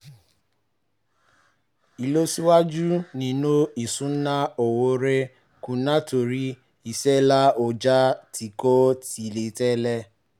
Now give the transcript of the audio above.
ìlọsíwájú nínú ìṣúnná owó rẹ̀ kùnà torí ìṣẹ̀lẹ̀ ọjà tí kò títẹ̀lẹ̀